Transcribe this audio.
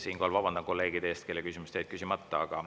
Siinkohal vabandan kolleegide ees, kellel jäid küsimused küsimata.